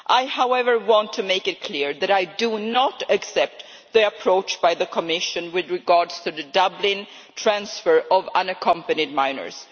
However, I want to make it clear that I do not accept the approach by the Commission with regard to the Dublin transfer of unaccompanied minors.